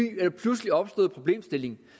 pludselig opstået problemstilling